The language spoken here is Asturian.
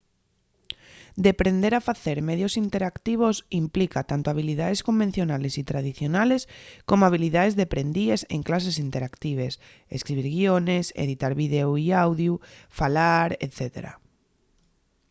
deprender a facer medios interactivos implica tanto habilidaes convencionales y tradicionales como habilidaes deprendíes en clases interactives escribir guiones editar videu y audiu falar etc.